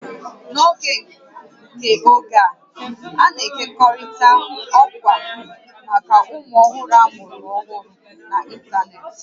N'oge nke oge a, a na-ekekọrịta ọkwa maka ụmụ ọhụrụ amụrụ ọhụrụ n'ịntanetị